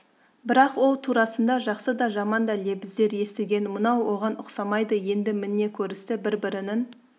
бірақ ол турасында жақсы да жаман да лебіздер естіген мынау оған ұқсамайды енді міне көрісті бір-бірінің